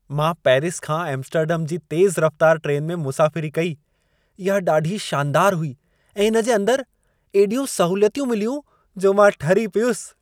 मां पेरिस खां एम्स्टर्डम जी तेज़ रफ़तार ट्रेन में मुसाफ़िरी कई। इहा ॾाढी शानदार हुई ऐं इन जे अंदर एॾियूं सहूलियतूं मिलियूं, जो मां ठरी पियुसि।